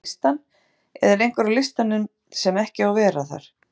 Vantar einhverja á listann eða er einhver á listanum sem ekki á að vera þar?